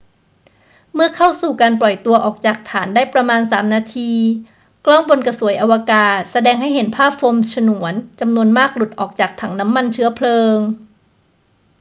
เมื่อเข้าสู่การปล่อยตัวออกจากฐานได้ประมาณ 3 นาที กล้องบนกระสวยอวกาศแสดงให้เห็นภาพโฟมฉนวนจำนวนมากหลุดออกจากถังน้ำมันเชื้อเพลิง